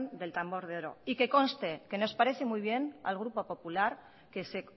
del tambor de oro y que conste que nos parece muy bien al grupo popular que se